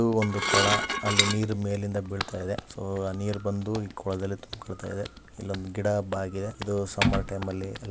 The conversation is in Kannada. ಇದು ಒಂದು ಕೊಳ ಅಲ್ಲಿ ನೀರು ಮೇಲೆ ಇಂದ ಬೀಳ್ತಾ ಇದೆ ಸೊ ಆ ನೀರ್ ಬಂದು ಈ ಕೊಳದಲ್ಲಿ ತುಂಬಿಕೊಳ್ತಾ ಇದೆ ಇಲ್ಲೊಂದು ಗಿಡ ಬಾಗಿದೆ ಅದು ಸಮ್ಮರ್ ಟೈಮ್ ಅಲ್ಲಿ --